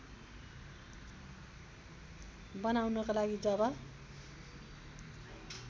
बनाउनको लागि जब